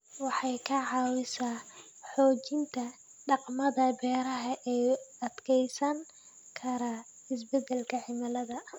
Waxay ka caawisaa xoojinta dhaqamada beeraha ee u adkeysan kara isbedelka cimilada.